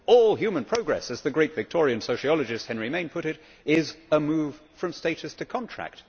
All human progress, as the great Victorian sociologist Henry Maine put it, is a move from status to contract.